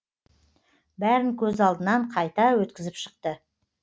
бәрін көз алдынан қайта өткізіп шықты